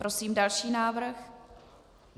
Prosím další návrh.